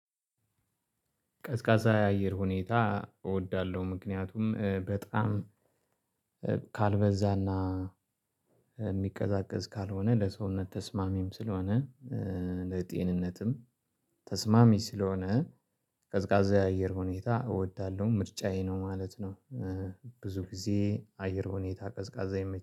ቀዝቃዛ የአየር ሁኔታ እወዳለሁ። ምክንያቱም በጣም ካልበዛና የሚቀዛቀዝ ካልሆነ ለሰውነት ተስማሚም ስለሆነ ለጤንነትም ተስማሚ ስለሆነ ቀዝቃዛ የአየር ሁኔታ እወዳለሁ። ምርጫዬ ነው ማለት ነው። ብዙ ጊዜ የአየር ሁኔታ ቀዝቃዛ